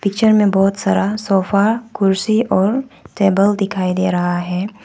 Picture में बहुत सारा सोफा कुर्सी और टेबल दिखाई दे रहा है।